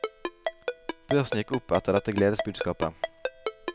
Børsen gikk opp etter dette gledesbudskapet.